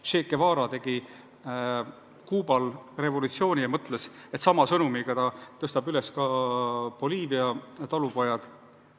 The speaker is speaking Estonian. Che Guevara tegi Kuubal revolutsiooni ja mõtles, et sama sõnumiga ta tõstab üles ka Boliivia talupojad.